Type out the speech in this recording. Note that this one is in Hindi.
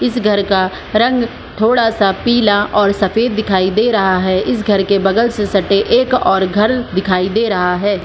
इस घर का रंग थोड़ा सा पीला और सफ़ेद दिखाई दे रहा है इस घर के बगल से सटे एक और घर दिखाई दे रहा है।